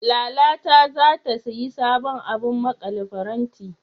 Lala ta zata sayi sabon abun maƙale faranti.